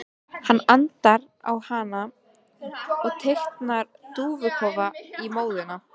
Hann andar á hana og teiknar dúfnakofa í móðuna.